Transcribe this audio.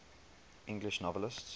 english novelists